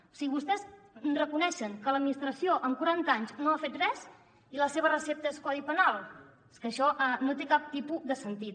o sigui vostès reconeixen que l’administració en quaranta anys no ha fet res i la seva recepta és codi penal és que això no té cap tipus de sentit